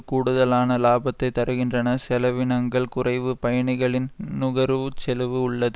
கூடுதலான இலாபத்தைத் தருகின்றன செலவினங்கள் குறைவு பயணிகளின் நுகர்வு செலவு உள்ளது